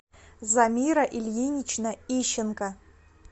замира ильинична ищенко